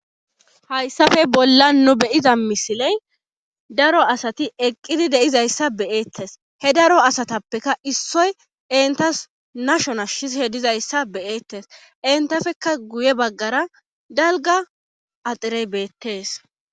Hayssafe bollaan nu be7iza misilen daro asati eqqidi de7izayssa be7eettes he daro asatappeka issoy enttas nasho nashishe dizayssa be7eettes enttafekka guy e baggaara dalgga axirey beettees.